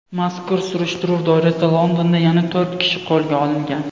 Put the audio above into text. Mazkur surishtiruv doirasida Londonda yana to‘rt kishi qo‘lga olingan.